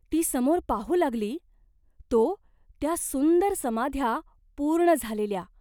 ती समोर पाहू लागली, तो त्या सुंदर समाध्या पूर्ण झालेल्या !